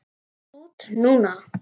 Út núna?